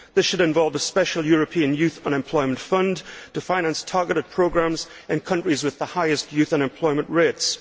This should involve a special European Youth Unemployment Fund to finance targeted programmes in countries with the highest youth unemployment rates.